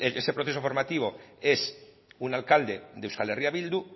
ese proceso formativo es un alcalde de euskal herria bildu